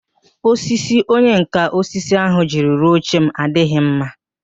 Osisi onyenká osisi ahu jiri rụọ oche m adịghị mma